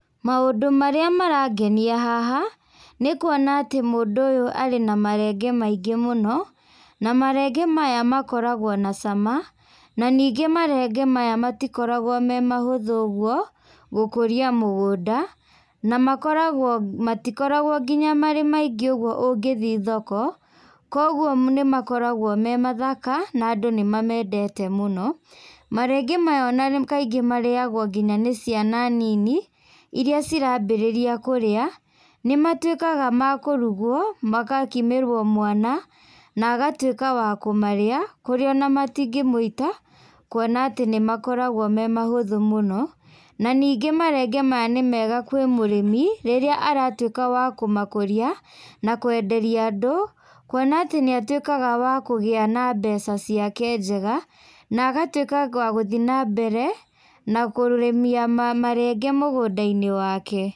Maũndũ marĩa marangenia haha, nĩ kuona atĩ mũndũ ũyũ arĩ na marenge maingĩ mũno, na marenge maya makoragwo na cama, na ningĩ marenge maya matikoragwo me mahũthũ ũguo, gũkũria mũgũnda, na makoragwo matikoragwo nginya marĩ maingĩ ũguo ũngĩthiĩ thoko, koguo nĩmakoragwo me mathaka, na andũ nĩmamendete mũno, marenge maya ona kaingĩ marĩagwo nginya nĩ ciana nini, iria citambĩrĩria kũrĩa, nĩmatuĩkaga ma kũrugwo, makakimĩrwo mwana, na agatuĩka wa kũmarĩa, kũrĩa ona matingĩmũita, kuona atĩ nĩmakoragwo me mahũthũ mũno, na ningĩ marenge maya nĩ mega kwĩ mũrĩmi, rĩrĩa aratuĩka wa kũmakũria, na kwenderia andũ, kuona atĩ nĩatuĩkaga wa kũgĩa na mbeca ciake njega, na agatuĩkaga wa gũthiĩ nambere na kũrĩmia ma marenge mũgũndainĩ wake.